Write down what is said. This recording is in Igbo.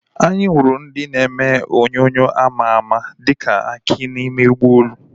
Anyị hụrụ onye na-eme ihe onyonyo àmà àmà dịka Aki n'ime ụgbọelu